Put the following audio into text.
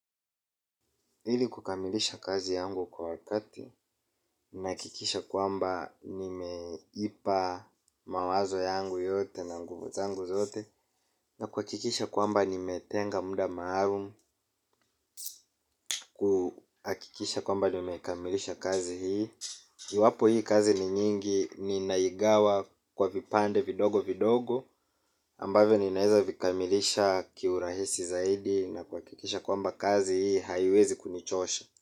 Ilikukamilisha kazi yangu kwa wakati, nahakikisha kwamba nimeipa mawazo yangu yote na nguvu zangu zote, na kuhakikisha kwamba nimetenga muda maalum. Kuhakikisha kwamba nimekamilisha kazi hii. Iwapo hii kazi ni nyingi, ninaigawa kwa vipande vidogo vidogo. Ambavyoninaweza vikamilisha kiurahisi zaidi na kuhakikisha kwamba kazi hii haiwezi kunichosha.